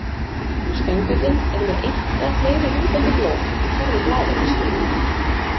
Stöngullinn er með eitt eða fleiri lútandi blóm í hverri blaðöxl.